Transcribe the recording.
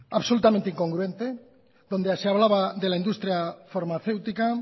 absolutamente incongruente donde se hablaba de la industria farmacéutica